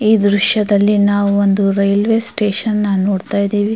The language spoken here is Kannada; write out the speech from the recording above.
ಈ ದೃಶ್ಯದಲ್ಲಿ ನಾವು ಒಂದು ರೈಲ್ವೆ ಸ್ಟೇಷನ್ ನೋಡ್ತಾ ಇದೀವಿ.